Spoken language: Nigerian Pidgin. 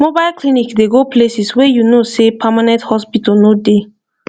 mobile clinic dey go places wey you know sey permanent hospital no dey